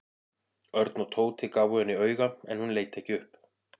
Örn og Tóti gáfu henni auga en hún leit ekki upp.